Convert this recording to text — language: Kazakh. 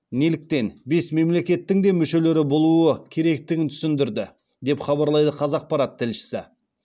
неліктен бес мемлекеттің де мүшелері болуы керектігін түсіндірді деп хабарлайды қазақпарат тілшісі